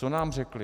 Co nám řekli?